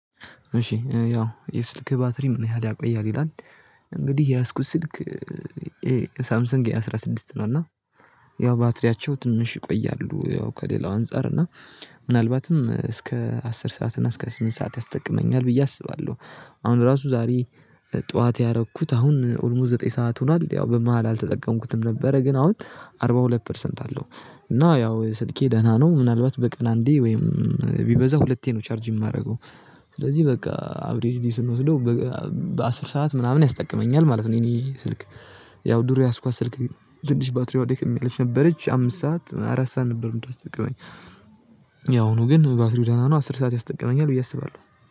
እሺ ያው የስልክህ ባትሪ ምን ያህል ያቆያል ይላል? እንግዲህ የያዝኩት ስልክ ይሄ ሳምሰንግ ኤ አስራስድስት ነው እና ያው ባትሪያቸው ትንሽ ይቆያሉ ያው ከሌላው አንፃር እና ምናልባትም እስከ አስር ሰዓት እና እስከ ስምንት ሰዓት ያስጠቅመኛል ብዬ አስባለሁ። አሁን ራሱ ዛሬ ጠዋት ያረኩት አሁን ኦልሞስት ዘጠኝ ሰዓት ሆኗል ያው በመሃል አልተጠቀምኩትም ነበረ። ግን አሁን አርባ ሁለት ፐርሰንት አለው። እና ያው ስልኬ ደህና ነው ምናልባት በቀን አንዴ ወይም ቢበዛ ሁለቴ ነው ቻርጅ እማረገው። ስለዚህ በቃ አብሬዲዲ ስንወስደው በአስር ሰዓት ምናምን ያስጠቅመኛል ማለት ነው። የኔ ስልክ ያው ዱሮ የያዝኳት ስልክ ትንሽ ባትሪዋ ደክም የሚል ሰበረች አምስት ሰዓት አራት ሰዓት ነበር የምታስጠቅመኝ። የአሁኑ ነው ግን ባትሪው ደህና ነው አስር ሰዓት ያስጠቅመኛል ብዬ አስባለሁ።